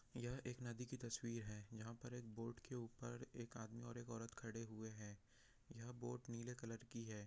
यह एक नदी की तस्वीर है यहाँ बोट के ऊपर एक आदमी और औरत खड़े हुए है यह बोट नीले कलर की हैं।